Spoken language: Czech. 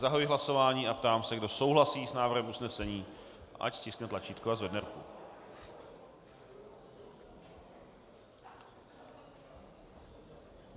Zahajuji hlasování a ptám se, kdo souhlasí s návrhem usnesení, ať stiskne tlačítko a zvedne ruku.